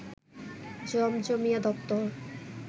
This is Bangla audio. জমজমিয়া দপ্তর